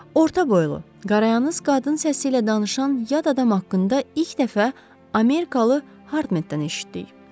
Orta boylu, qarayandız qadın səsi ilə danışan yad adam haqqında ilk dəfə Amerikalı Hardmendən eşitdik.